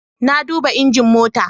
Na duba injin mota